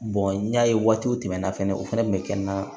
n y'a ye waatiw tɛmɛna fɛnɛ o fɛnɛ kun bɛ kɛ n na